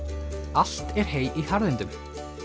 allt er hey í harðindum